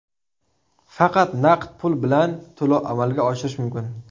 Faqat naqd pul bilan to‘lov amalga oshirish mumkin.